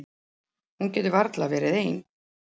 Hún getur varla verið ein.